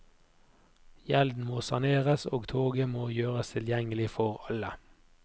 Gjelden må saneres, og toget må gjøres tilgjengelig for alle.